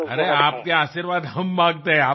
अरे तुमचे आशीर्वाद आम्ही मागतो